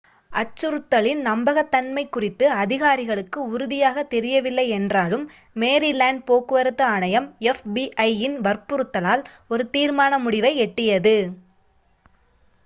அச்சுறுத்தலின் நம்பகத்தன்மை குறித்து அதிகாரிகளுக்கு உறுதியாகத் தெரியவில்லை என்றாலும் மேரிலேண்ட் போக்குவரத்து ஆணையம் fbi-இன் வற்புறுத்தலால் ஒரு தீர்மான முடிவை எட்டியது